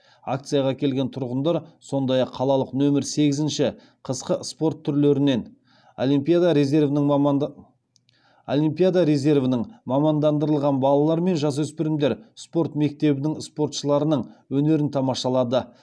акцияға келген тұрғындар сондай ақ қалалық нөмір сегізінші қысқы спорт түрлерінен олимпиада резервінің мамандандырылған балалар мен жасөспірімдер спорт мектебінің спортшыларының өнерін тамашалады